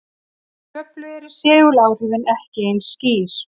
Í Kröflu eru seguláhrifin ekki eins skýr.